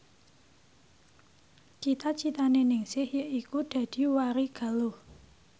cita citane Ningsih yaiku dadi warigaluh